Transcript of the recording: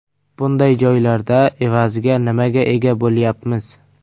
Bunday joylarda evaziga nimaga ega bo‘lyapmiz?